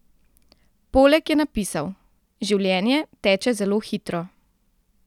Poleg je napisal: "Življenje teče zelo hitro.